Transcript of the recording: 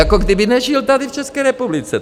Jako kdyby nežil tady v České republice.